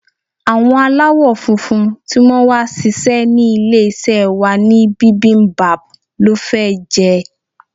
Àwọn aláwo-funfun tí wón wá sise ní ilé-isé wa ní bibimbap lọ́ fẹ́ jẹ.